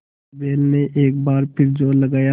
बैल ने एक बार फिर जोर लगाया